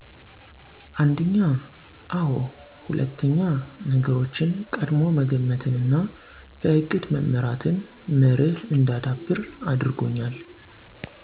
አንድኛ፦ አዎ ሁለትኛ፦ ነገሮችን ቀድሞ መገመትንና በእቅድ መመራትን መርህ እንዳዳብር አድርጎኛል።